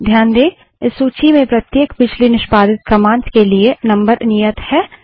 ध्यान दें इस सूची में प्रत्येक पिछली निष्पादित कमांड्स के लिए नंबर नियत है